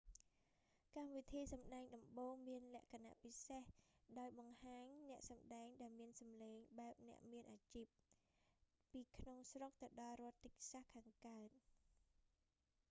កម្មវិធីសម្តែងដំបូង មានលក្ខណពិសេសដោយបង្ហាញអ្នកសំដែងដែលមានសំឡេងបែបអ្នកមែនអាជីព ពីក្នុងស្រុកទៅដល់រដ្ឋតិចសាស texas ខាងកើត